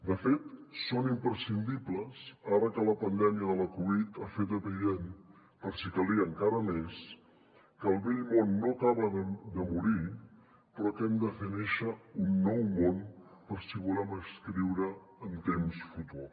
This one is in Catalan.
de fet són imprescindibles ara que la pandèmia de la covid ha fet evident per si calia encara més que el vell món no acaba de morir però que hem de fer néixer un nou món per si volem escriure en temps futur